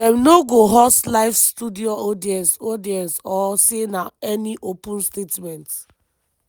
dem no go host live studio audience audience or say any open statements.